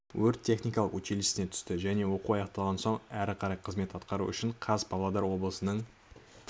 өрт-техникалық училищесіне түсті және оқу аяқталған соң әрі қарай қызмет атқару үшін қаз павлодар облысының